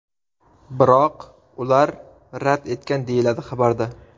Biroq ular rad etgan”, deyiladi xabarda.